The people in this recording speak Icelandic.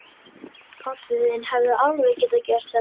Pabbi þinn hefði alveg getað gert þetta.